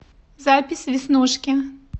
запись веснушки